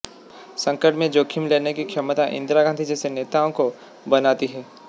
संकट में जोखिम लेने की क्षमता इंदिरा गांधी जैसे नेताओं को बनाती है